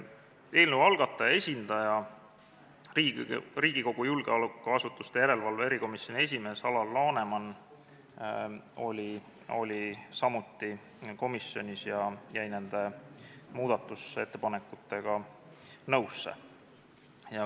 Eelnõu algataja esindaja, Riigikogu julgeolekuasutuste järelevalve erikomisjoni esimees Alar Laneman oli samuti komisjonis ja jäi nende muudatusettepanekutega nõusse.